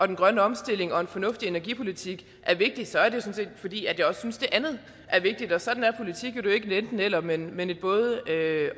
den grønne omstilling og en fornuftig energipolitik er vigtigt så er det sådan set fordi jeg også synes det andet er vigtigt sådan er politik jo det er ikke et enten eller men men et både